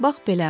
Bax belə.